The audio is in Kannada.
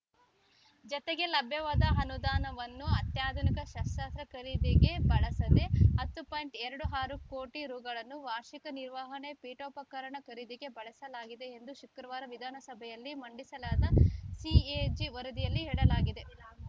ಜತೆಗೆ ಲಭ್ಯವಾದ ಅನುದಾನವನ್ನು ಅತ್ಯಾಧುನಿಕ ಶಸ್ತ್ರಾಸ್ತ್ರ ಖರೀದಿಗೆ ಬಳಸದೆ ಹತ್ತು ಪಾಯಿಂಟ್ ಎರಡು ಆರು ಕೋಟಿ ರುಗಳನ್ನು ವಾರ್ಷಿಕ ನಿರ್ವಹಣೆ ಪೀಠೋಪಕರಣ ಖರೀದಿಗೆ ಬಳಸಲಾಗಿದೆ ಎಂದು ಶುಕ್ರವಾರ ವಿಧಾನಸಭೆಯಲ್ಲಿ ಮಂಡಿಸಲಾದ ಸಿಎಜಿ ವರದಿಯಲ್ಲಿ ಹೇಳಲಾಗಿದೆ